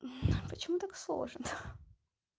а почему так сложно ха